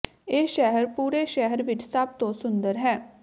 ਇਹ ਸ਼ਹਿਰ ਪੂਰੇ ਸ਼ਹਿਰ ਵਿਚ ਸਭ ਤੋਂ ਸੁੰਦਰ ਹੈ